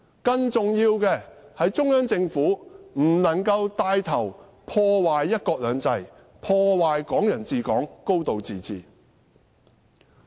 更重要的是中央政府不能帶頭破壞"一國兩制"、"港人治港"、"高度自治"。